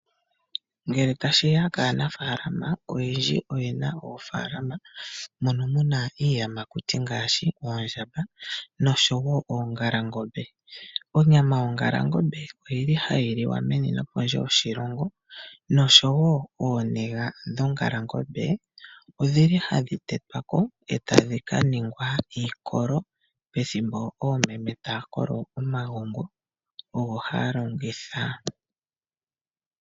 Ngele tashi ya kaanafaalama oyendji oye na oofaalama moka mu na iiyamakuti ngaashi oondjamba noshowo oongalangombe. Onyama yongalangombe ohayi liwa meni nopondje yoshilongo, noshowo ooniga dhongalangombe ohadhi tetwa ko e tadhi ka ningwa iikolo. Pethimbo oomeme taya kolo omagongo odho haa longitha.